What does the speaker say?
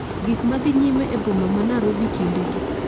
Gik madhi nyime e boma ma narobi kinde gi